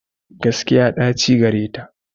Gaskiya ɗaci gareta.